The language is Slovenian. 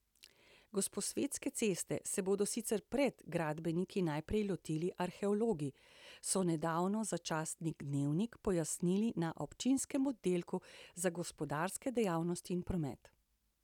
Gosposvetske ceste se bodo sicer pred gradbeniki najprej lotili arheologi, so nedavno za časnik Dnevnik pojasnili na občinskem oddelku za gospodarske dejavnosti in promet.